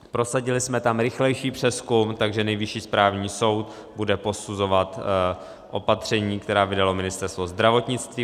Prosadili jsme tam rychlejší přezkum, takže Nejvyšší správní soud bude posuzovat opatření, která vydalo Ministerstvo zdravotnictví.